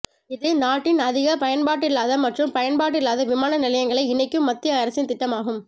இது நாட்டின் அதிக பயன்பாடில்லாத மற்றும் பயன்பாடில்லாத விமான நிலையங்களை இணைக்கும் மத்திய அரசின் திட்டம் ஆகும்